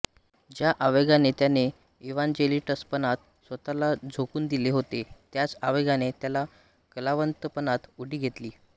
ज्या आवेगाने त्याने इव्हांजेलिस्टपणात स्वतःला झोकून दिले होते त्याच आवेगाने त्याने कलावंतपणात उडी घेतली